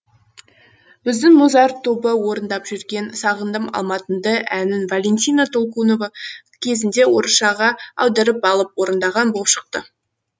біздің музарт тобы орындап жүрген сағындым алматымды әнін валентина толкунова кезінде орысшаға аударып алып орындаған болып шықты